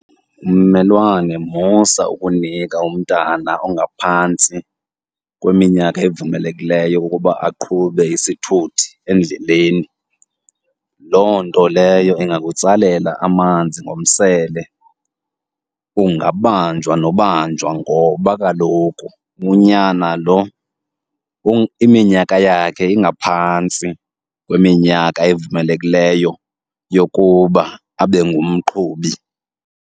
Mmelwane, musa ukunika umntana ongaphantsi kweminyaka evumelekileyo ukuba aqhube isithuthi endleleni. Loo nto leyo ingakutsalela amanzi ngomsele, angabanjwa nobanjwa ngoba kaloku unyana lo iminyaka yakhe ingaphantsi kweminyaka evumelekileyo yokuba abe ngumqhubi.